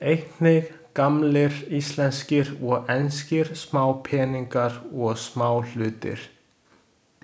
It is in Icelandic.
Einnig gamlir íslenskir og enskir smápeningar og smáhlutir.